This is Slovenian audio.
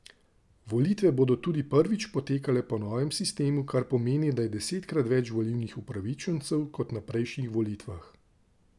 Volitve bodo tudi prvič potekale po novem sistemu, kar pomeni, da je desetkrat več volilnih upravičencev kot na prejšnjih volitvah.